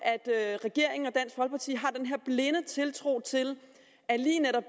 at regeringen og tiltro til at lige netop